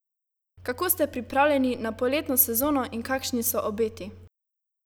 Kako ste pripravljeni na poletno sezono in kakšni so obeti?